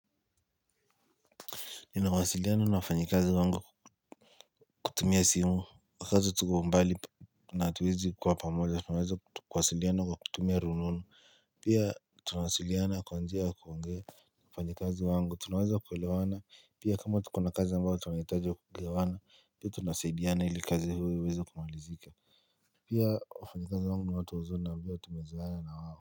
Ninawasiliana na wafanyikazi wangu kutumia simu wakati tuko umbali na hatuwezi kwa pamoja, tunaweza kuwasiliana lwa kutumia rununu Pia tunawasiliana kwa njia wa kuongea wafanyikazi wangu, tunaweza kuelewana Pia kama tuko na kazi ambayo tunahitaji wa kugewana, pia tunasaidiana ili kazi huo iweze kumalizika Pia wafanyikazi wangu wote wazuri na ivyo tumezoena na wawo.